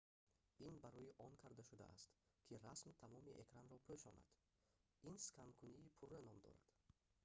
ин барои он карда шудааст ки расм тамоми экранро пӯшонад ин сканкунии пурра ном дорад